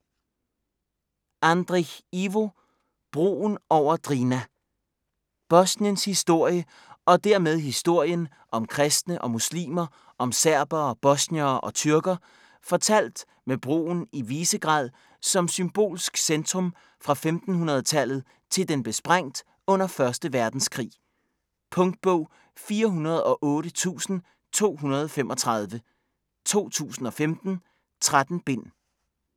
Andric, Ivo: Broen over Drina Bosniens historie, og dermed historien om kristne og muslimer, om serbere, bosniere og tyrker, fortalt med broen i Visegrad som symbolsk centrum fra 1500-tallet til den blev sprængt under 1. verdenskrig. Punktbog 408235 2015. 13 bind.